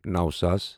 نَو ساس